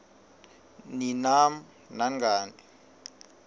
ni nam nangani